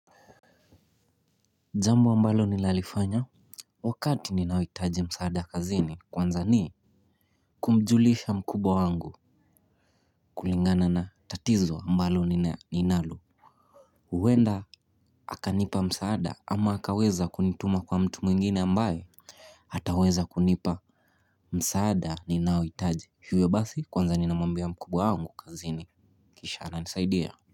Jambo ambalo ninalifanya wakati ninauitaji msaada kazini kwanza ni kumjulisha mkubwa wangu kulingana na tatizo ambalo ninalo. Huenda akanipa msaada ama akaweza kunituma kwa mtu mwingine ambaye ataweza kunipa msaada ninaoitaji. Hivyo basi kwanza ninamwambia mkubwa wangu kazini, kisha ananisaidia.